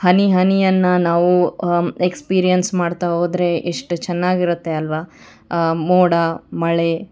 ಹನಿ ಹನಿ ಅನ್ನ ನಾವು ಆ ಎಕ್ಸ್ಪೀರಿಯನ್ಸ್ ಮಾಡ್ತಾ ಹೋದ್ರೆ ಎಷ್ಟು ಚೆನ್ನಾಗಿರುತ್ತೆ ಅಲ್ವಾ ಮೋಡ ಮಳೆ--